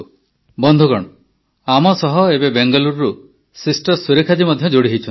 ବନ୍ଧୁଗଣ ଆମ ସହ ଏବେ ବେଙ୍ଗାଲୁରୁରୁ ସିଷ୍ଟର ସୁରେଖା ଜୀ ମଧ୍ୟ ଯୋଡ଼ି ହୋଇଛନ୍ତି